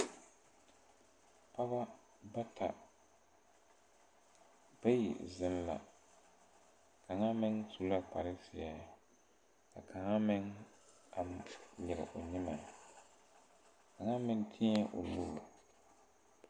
Pɔɔbɔ bata bayi zeŋ la kaŋa meŋ su la kparezeɛ ka kaŋa meŋ a nyire o nyimɛ kaŋa meŋ teɛɛ o nuure.